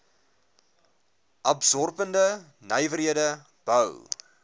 absorberende nywerhede bou